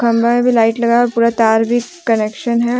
खम्भा में भी लाइट लगा हुआ है पूरा तार भी कनेक्सन है।